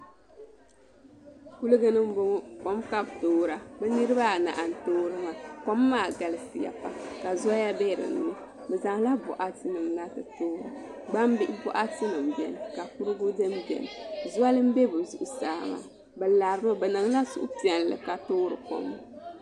Kuligi ni n boŋo kom ka bi toora bi niraba anahi n toori kom maa kom maa galisiya ka zoya bɛ dinni bi zaŋla boɣati nim na ti toorili gbambihi boɣati nim biɛni ka kurigu dini biɛni zoli n bɛ bi zuɣusaa maa bi lari mi bi niŋla suhupiɛlli ka toori kom maa